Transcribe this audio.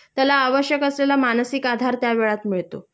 त्याला आवश्यक असलेला मानसिक आधार त्यावेळात मिळतो